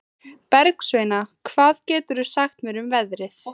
Bergsveina, hvað geturðu sagt mér um veðrið?